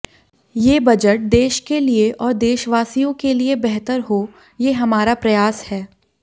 ये बजट देश के लिए और देशवासियों के लिए बेहतर हो ये हमारा प्रयास है